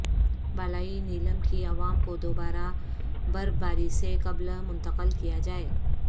بالائی نیلم کی عوام کو دوبارہ برفباری سے قبل منتقل کیا جائے